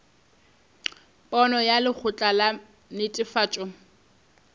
pono ya lekgotla la netefatšo